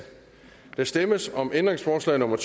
der stemmes om ændringsforslag nummer